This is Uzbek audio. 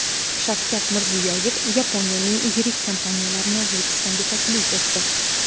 Shavkat Mirziyoyev Yaponiyaning yirik kompaniyalarini O‘zbekistonga taklif etdi.